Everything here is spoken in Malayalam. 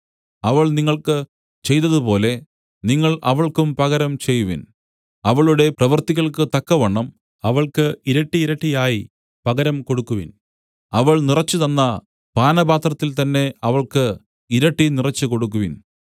അവൾ നിങ്ങൾക്ക് ചെയ്തതുപോലെ നിങ്ങൾ അവൾക്കും പകരം ചെയ്‌വിൻ അവളുടെ പ്രവൃത്തികൾക്കു തക്കവണ്ണം അവൾക്ക് ഇരട്ടിയിരട്ടിയായി പകരം കൊടുക്കുവിൻ അവൾ നിറച്ചു തന്ന പാനപാത്രത്തിൽ തന്നെ അവൾക്ക് ഇരട്ടി നിറച്ചു കൊടുക്കുവിൻ